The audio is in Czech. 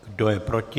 Kdo je proti?